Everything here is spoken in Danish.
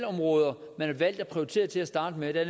områder man har valgt at prioritere til at starte med der